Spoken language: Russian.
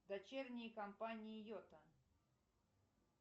дочерние компании йота